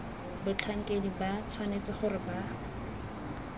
batlhankedi ba tshwanetse gore ba